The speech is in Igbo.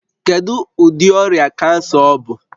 Kedu ụdị ọrịa kansa ọ bụ?